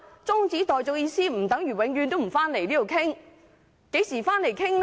中止待續的意思不等於永遠不回立法會討論，何時回來討論？